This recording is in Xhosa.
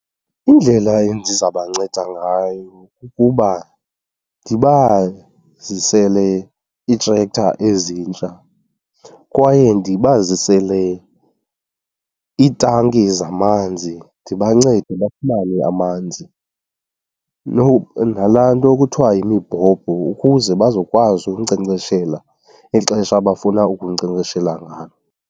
Indlela endizabanceda ngayo kukuba ndibazisele ii-tractor ezintsha kwaye ndibazisele iitanki zamanzi. Ndibancede bafumane amanzi nalaa nto kuthiwa yimibhobho ukuze bazokwazi ukunkcenkceshela ixesha abafuna ukunkcenkceshela ngalo.